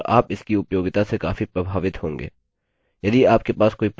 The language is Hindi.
इसका अभ्यास करें और आप इसकी उपयोगिता से काफी प्रभावित होंगे